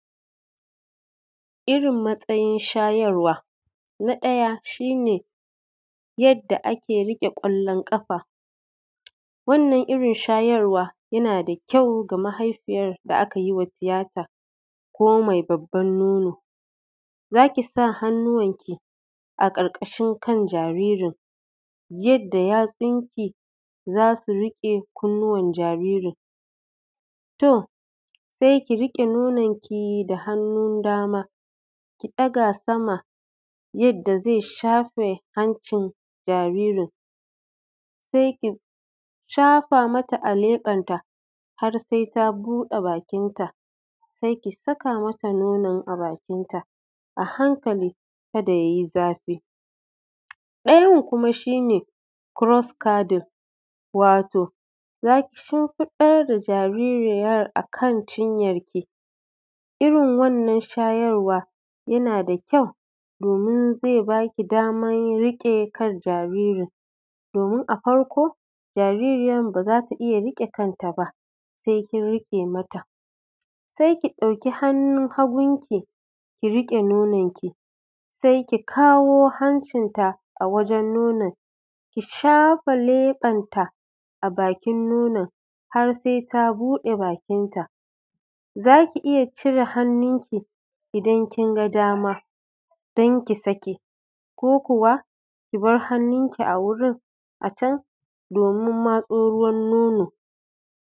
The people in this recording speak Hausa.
Irin matsayin shayarwa. Na ɗaya shi ne yadda ake riƙe ƙwallon ƙafa, wannan irin shayarwa yana da kyau ga mahaifiyar da aka yi wa tiyata ko mai babban nono. Za ki sa hannuwanki a ƙarƙashin kan jaririn yadda yatsunki za su riƙe kunnuwan jaririn. To, sai ki riƙe nonuwanki da hannun dama, ki ɗaga sama yadda zai shafe hancin jaririn, sai ki shafa mata a leɓenta, har sai ta buɗe bakinta, sai ki saka mata nonon a bakinta a hankali, kada ya yi zafi. Ɗayan kuma shi ne cross-carding, wato za ki shimfiɗar da jaririyar a kan cinyarki, irin wannan shayarwa yana da kyau domin zai ba ki damar riƙe kan jaririn domin a farko, jaririyar ba za ta iya riƙe kanta ba, sai kin riƙe mata. sai ki ɗauki hannun hagunki, ki riƙe nononki, sai ki kawo hancinta a wajen nonon, ki shafe leɓenta a bakin nonon, har sai ta buɗe bakinta. Za ki iya cire hannunki idan kin ga dama don ki sake, ko kuwa ki bar hannunki a wurin a can domin matso ruwan nono.